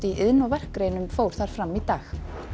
iðn og verkgreinum fór þar fram í dag